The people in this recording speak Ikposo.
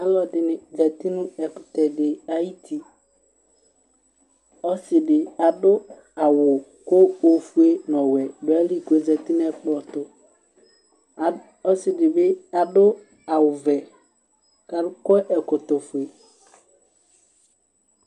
Alʋ ɛdɩnɩ zati nʋ ɛkʋtɛ dɩ ayʋ uti, ɔsɩ dɩ adʋ awʋ, kʋ ofue nʋ ɔwɛ dʋ ayili kʋ ɔzati nʋ ɛkplɔ ɛtʋ, ɔsɩ dɩ bɩ adʋ awʋ vɛ, kʋ akɔ ɛkɔtɔ fue